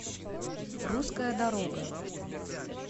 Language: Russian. русская дорога